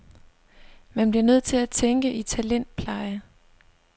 Man bliver nødt til at tænke i talentpleje.